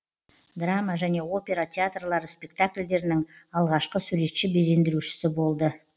драма және опера театрлары спектакльдерінің алғашқы суретші безендірушісі болды